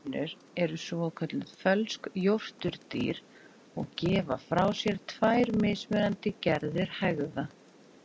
Kanínur eru svokölluð fölsk jórturdýr og gefa frá sér tvær mismunandi gerðir hægða.